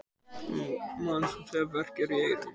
Mann bókstaflega verkjar í eyrun.